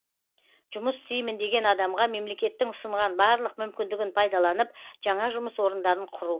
жұмыс істеймін деген адамға мемлекеттің ұсынған барлық мүмкіндігін пайдаланып жаңа жұмыс орындарын құру